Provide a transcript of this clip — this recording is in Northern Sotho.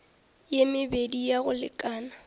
ye mebedi ya go lekana